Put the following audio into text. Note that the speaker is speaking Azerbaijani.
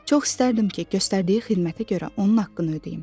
Çox istərdim ki, göstərdiyi xidmətə görə onun haqqını ödəyim.